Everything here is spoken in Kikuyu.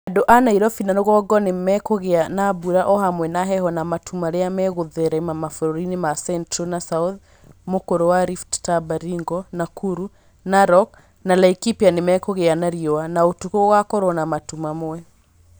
Andũ a Nairobi na rũgongo nĩ mekũgĩa na mbura o hamwe na heho na matu marĩa megũtherema mabũrũriinĩ ma Central na South m ũk ũr ũ wa rift ta Baringo, Nakuru, Narok na Laikipia nĩ mekũgĩa na riũa, na ũtukũ gũgakorwo na matu mamwe.